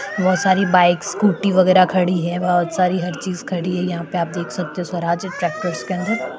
बहुत सारी bikes scooty वगेरा खडी है बहुत सारी हर चीज खडी है यहापे आप देक सकते हो स्वराज ट्रॅक्टरस कॅनड --